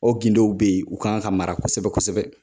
O gindow be yen u kan ka mara kosɛbɛ kosɛbɛ